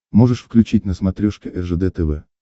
можешь включить на смотрешке ржд тв